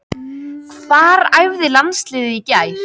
Hvar æfði landsliðið í gær?